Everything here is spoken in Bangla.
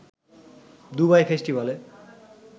দুবাই ফেস্টিভালে